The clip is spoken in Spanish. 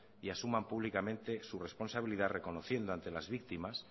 y asuman públicamente su responsabilidad reconociendo ante las víctimas